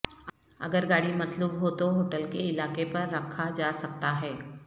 اگر گاڑی مطلوب ھو تو ہوٹل کے علاقے پر رکھا جا سکتا ہے